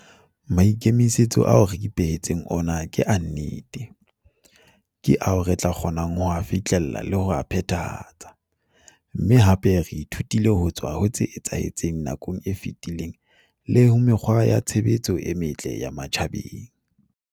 Maikemisetso ao re ipehe tseng ona ke a nnete, ke ao re tla kgonang ho a fihlella le ho a phethahatsa, mme hape re ithutile ho tswa ho tse etsahetseng nakong e fetileng le ho mekgwa ya tshebetso e metle ya matjhabeng.